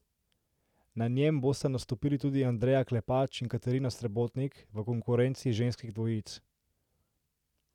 Na njem bosta nastopili tudi Andreja Klepač in Katarina Srebotnik v konkurenci ženskih dvojic.